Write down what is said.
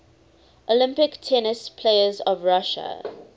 olympic tennis players of russia